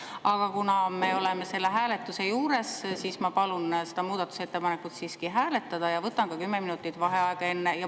Aga kuna me oleme selle juures, siis ma palun seda muudatusettepanekut hääletada ja võtan enne seda ka kümme minutit vaheaega.